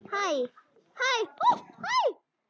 Að hlæja, sagði Abba hin.